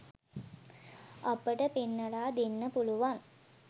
අපට පෙන්නලා දෙන්න පුළුවන්.